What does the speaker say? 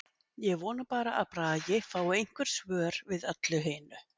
Ég vona bara að Bragi fái einhver svör við öllu hinu.